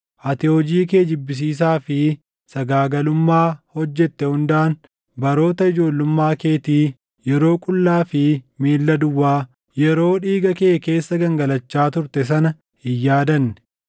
Ati hojii kee jibbisiisaa fi sagaagalummaa hojjete hundaan baroota ijoollummaa keetii, yeroo qullaa fi miilla duwwaa, yeroo dhiiga kee keessa gangalachaa turte sana hin yaadanne.